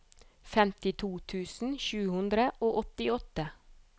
femtito tusen sju hundre og åttiåtte